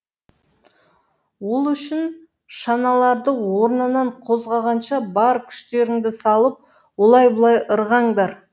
ол үшін шаналарды орнынан қозғағанша бар күштеріңді салып олай бұлай ырғаңдар